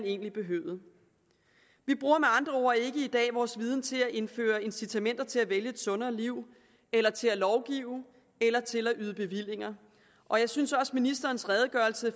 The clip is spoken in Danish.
egentlig behøvede vi bruger med andre ord ikke i dag vores viden til at indføre incitamenter til at vælge et sundere liv eller til at lovgive eller til at yde bevillinger og jeg synes også ministerens redegørelse